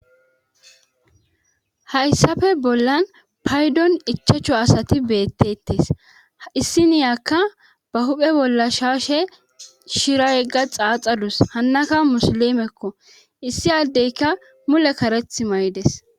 Hayssafe bollan paydon ichachu asati beettettes issi niyakka ba huphe bolla shaashe shira yegga xaaxadus hannaka musilimekko issi addeyka mule kareth may'des.